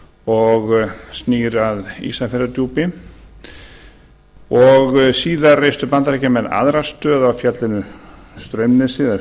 og snýr að ísafjarðardjúpi síðan reistu bandaríkjamenn aðra stöð á fjallinu straumnesi eða